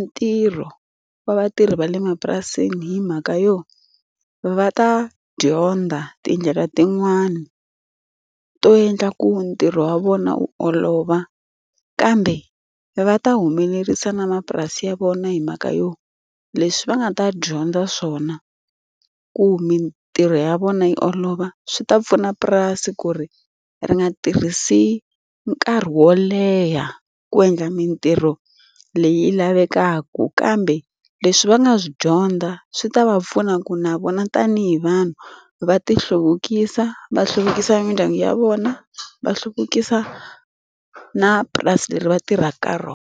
ntirho wa vatirhi va le mapurasini hi mhaka yo, va ta dyondza tindlela tin'wani to endla ku ntirho wa vona wu olova. Kambe va ta humelerisa na mapurasi ya vona hi mhaka yo, leswi va nga ta dyondza swona ku mintirho ya vona yi olova, swi ta pfuna purasi ku ri ri nga tirhisi nkarhi wo leha ku endla mitirho leyi lavekaka. Kambe leswi va nga swi dyondza swi ta va pfuna ku na vona tanihi vanhu, va ti hluvukisa, va hluvukisa mindyangu ya vona, va hluvukisa na purasi leri va tirhaka ka rona.